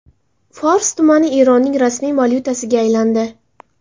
Fors tumani Eronning rasmiy valyutasiga aylandi.